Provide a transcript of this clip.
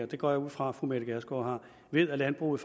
det går jeg ud fra fru mette gjerskov har ved at landbruget